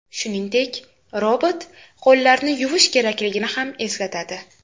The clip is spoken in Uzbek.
Shuningdek, robot qo‘llarni yuvish kerakligini ham eslatadi.